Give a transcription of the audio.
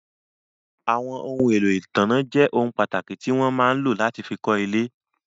Àwọn ohun èlò ìtanná jẹ́ ohun pàtàkì tí wọ́n máa ń lò láti fí kọ́ ilé.